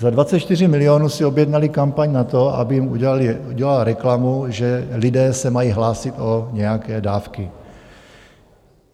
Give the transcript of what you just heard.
Za 24 milionů si objednali kampaň na to, aby jim udělali reklamu, že lidé se mají hlásit o nějaké dávky.